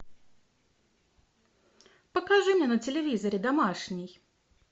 покажи мне на телевизоре домашний